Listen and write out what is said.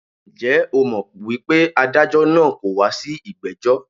Njẹ́ o mọ̀ wípé adájọ́ naa kọ̀ wá sí ìgbẹ́jọ́?